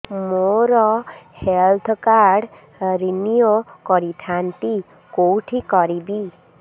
ମୋର health card renew କରିଥାନ୍ତି କୋଉଠି କରିବି